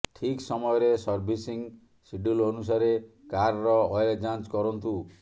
ଠିକ ସମୟରେ servicing schedule ଅନୁସାରେ କାରର ଅଏଲ ଯାଞ୍ଚ କରନ୍ତୁ